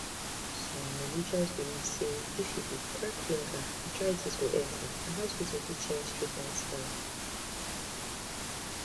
some religious belief say if you dey crack finger arthritis go enter and hospital fit change treatment style